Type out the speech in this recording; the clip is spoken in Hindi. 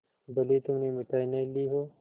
भले ही तुमने मिठाई नहीं ली हो